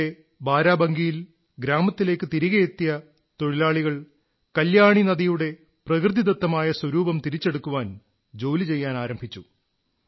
പിയിലെ ബാരാബങ്കിയിൽ ഗ്രാമത്തിലേക്ക് തിരികെ എത്തിയ തൊഴിലാളികൾ കല്യാണി നദിയുടെ പ്രകൃതിദത്തമായ സ്വരൂപം തിരിച്ചെടുക്കാൻ ജോലി ചെയ്യാനാരംഭിച്ചു